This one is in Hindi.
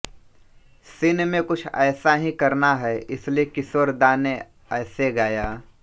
सीन में कुछ ऐसा ही करना है इसलिये किशोर दा ने ऐसे गाया